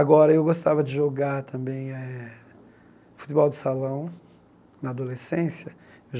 Agora, eu gostava de jogar também eh futebol de salão na adolescência.